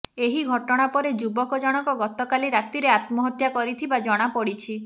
ଏହି ଘଟଣା ପରେ ଯୁବକ ଜଣକ ଗତକାଲି ରାତିରେ ଆତ୍ମହତ୍ୟା କରିଥିବା ଜଣାପଡ଼ିଛି